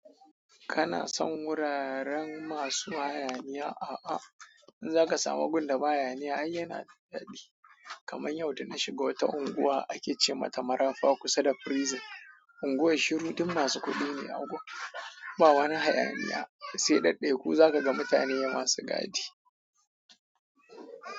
Kana son wuraren masu hayaniya? A'a, in zaka samu gunda ba hayaniya ai yana daɗi. Kamar yau da na shiga wata unguwa a Kecima ta Marafa kusa da Prison. Unguwar shiru, duk masu kuɗi ne a unguwar, ba wani hayaniya sai daɗɗe ko zaka ga mutane masu gadi.